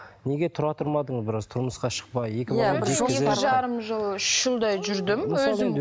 неге тұра тұрмадың біраз тұрмысқа шықпай екі жарым жыл үш жылдай жүрдім өзім